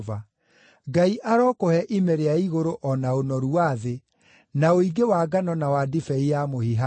Ngai arokũhe ime rĩa igũrũ o na ũnoru wa thĩ, na ũingĩ wa ngano na wa ndibei ya mũhihano.